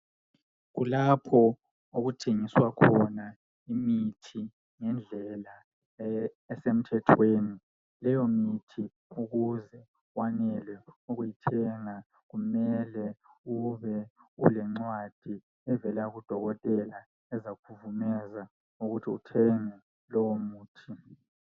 Kulapho okuthengiswa khona imithi ngendlelaa esemthethweni leyo mithi ukuze wanele ukuyithenga kumele ubelencwadi evela kudokotela ezakuvumeza ukuthi uthenge lowo muthi.